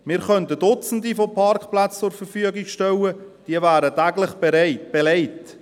Wir könnten Duzende von Parkplätzen zur Verfügung stellen – sie wären täglich belegt.